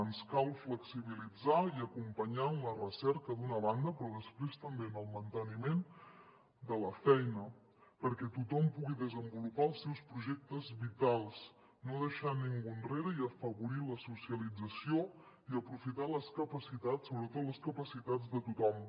ens cal flexibilitzar i acompanyar en la recerca d’una banda però després també en el manteniment de la feina perquè tothom pugui desenvolupar els seus projectes vitals no deixar ningú enrere i afavorir la socialització i aprofitar les capacitats sobretot les capacitats de tothom